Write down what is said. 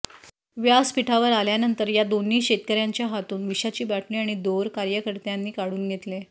व्यासपीठावर आल्यानंतर या दोन्ही शेतकऱ्यांच्या हातून विषाची बाटली आणि दोर कार्यकर्त्यांनी काढून घेतले